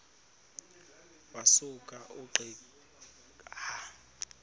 wasuka ungqika wathuma